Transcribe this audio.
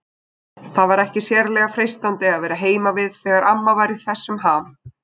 Það var ekki sérlega freistandi að vera heima við þegar amma var í þessum ham.